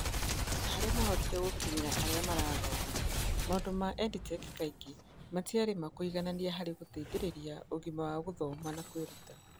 Na harĩa maahotire gũkinyĩra arĩa marathoma, maũndũ ma EdTech kaingĩ matiarĩ ma kũiganania harĩ gũteithĩrĩria ũgima wa gĩthomo na kwĩruta.